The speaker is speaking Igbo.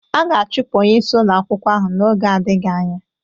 A ga-achụpụ onye isi ụlọ akwụkwọ ahụ n'oge adịghị anya.